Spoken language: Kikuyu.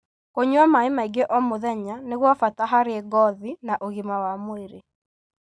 Kũnyua maĩ maingĩ o mũthenya nĩ gwa bata harĩ ngothi na ũgima wa mwĩrĩ.